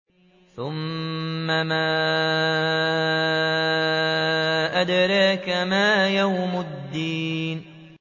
ثُمَّ مَا أَدْرَاكَ مَا يَوْمُ الدِّينِ